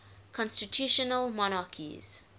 constitutional monarchies